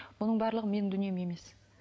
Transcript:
бұның барлығы менің дүнием емес